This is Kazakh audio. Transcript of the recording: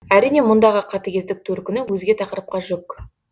әрине мұндағы қатыгездік төркіні өзге тақырыпқа жүк